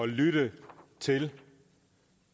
lytte til